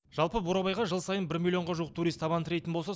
жалпы бурабайға жыл сайын бір миллионға жуық турист табан тірейтін болса